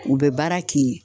U bɛ baara k'i ye